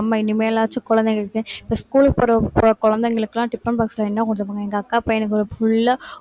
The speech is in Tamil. உம்